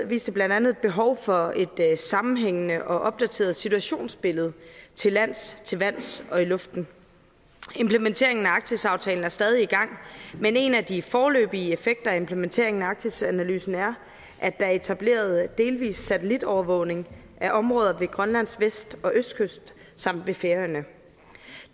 viste blandt andet behov for et sammenhængende og opdateret situationsbillede til lands til vands og i luften implementeringen af arktisaftalen er stadig i gang men en af de foreløbige effekter af implementeringen arktisanalysen er at der er etableret delvis satellitovervågning af områder ved grønlands vest og østkyst samt ved færøerne